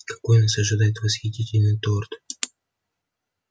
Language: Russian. какой нас ожидает восхитительный торт